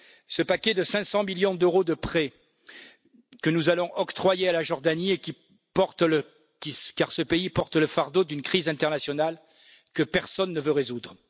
Ce paquet de 500 millions d'euros de prêts, nous allons l'octroyer à la Jordanie, car ce pays porte le fardeau d'une crise internationale que personne ne veut résoudre.